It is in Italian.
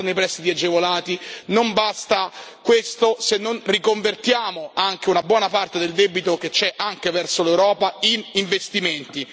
Non bastano i prestiti agevolati, non basta questo se non riconvertiamo anche una buona parte del debito che c'è, anche verso l'Europa, in investimenti.